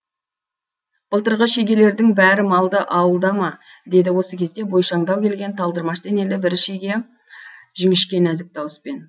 былтырғы шегелердің бәрі малды ауылда ма деді осы кезде бойшаңдау келген талдырмаш денелі бір шеге жіңішке нәзік дауыспен